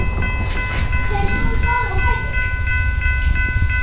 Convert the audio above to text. Þeir stóðu báðir á fætur.